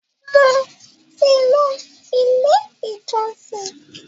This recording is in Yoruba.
mo tí ló ilé ìjósìn.